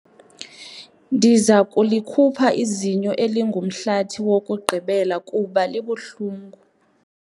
Ndiza kulikhupha izinyo elingumhlathi wokugqibela kuba libuhlungu.